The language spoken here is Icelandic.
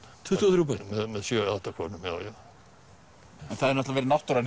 tuttugu og þrjú börn með sjö eða átta konum en það hefur verið náttúran